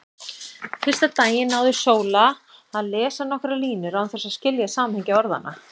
Fyrsta daginn náði Sóla að lesa nokkrar línur án þess að skilja samhengi orðanna.